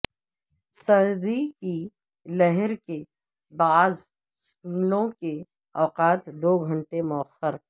سردی کی لہر کے باعث سکولوں کے اوقات دو گھنٹے موخر